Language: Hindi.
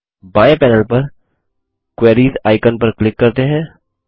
बाएं पैनल पर क्वेरीज आइकन पर क्लिक करते हैं